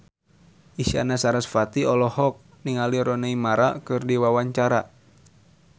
Isyana Sarasvati olohok ningali Rooney Mara keur diwawancara